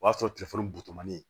O y'a sɔrɔ telefɔni butɔni